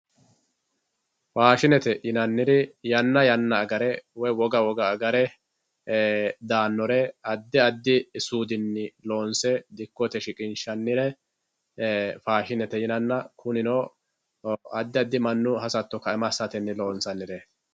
Faashinete yinaniri yana yana agere woyi woga woga agare daanore adi adi suudinni loonse dikkote shiqinshanire faashinete yinnanna kunino adi adi manu hasato kaima asatenni loonsanireti.